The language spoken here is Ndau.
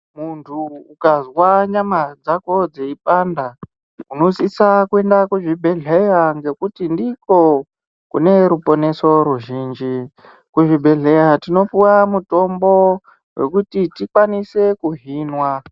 Muntu ukazwa nyama dzako dzeipanda unosisa kuenda kuzvibhedhleya ngekuti ndiko kune ruponeso ruzhinji. Kuzvibhedhleya tinopuwa mutombo wekuti tikwanise kuhinwa.